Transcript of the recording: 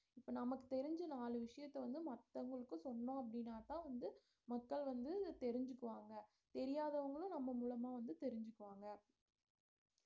இப்ப நமக்கு தெரிஞ்ச நாலு விஷயத்த வந்து மத்தவங்களுக்கு சொன்னோம் அப்படீன்னாதான் வந்து மக்கள் வந்து தெரிஞ்சுக்குவாங்க தெரியாதவங்களும் நம்ம மூலமா தெரிஞ்சுக்குவாங்க